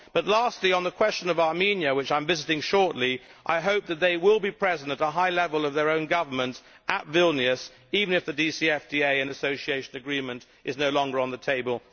Lastly, on the question of Armenia, which I am visiting shortly, I hope that they will be present at a high level of their own government at Vilnius, even if the DCFTA and Association Agreement is sadly no longer on the table.